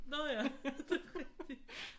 Nå ja det er rigtigt